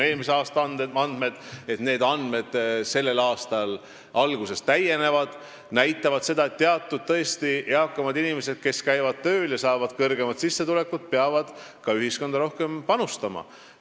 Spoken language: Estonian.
Eelmise aasta andmed – selle aasta alguse andmed veel täienevad – näitavad seda, et eakamad inimesed, kes käivad tööl ja saavad kõrgemat sissetulekut, peavad tõesti ühiskonda rohkem panustama.